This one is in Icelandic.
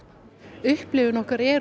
upplifun okkar er